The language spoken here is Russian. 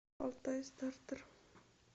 алтайстартер